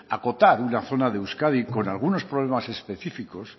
acotar una zona de euskadi con algunos problemas específicos